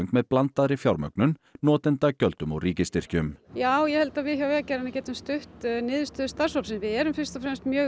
með blandaðri fjármögnun notendagjöldum og ríkisstyrkjum já ég held að við hjá Vegagerðinni getum stutt niðurstöðu starfshópsins við erum fyrst og fremst mjög